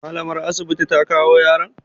Mallamar asibiti ta kawo yaron?